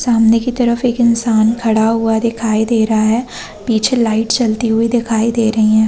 सामने की तरफ एक इंसान खड़ा हुआ दिखाई दे रहा हैं पीछे लाइट जलती हुई दिखाई दे रही हैं ।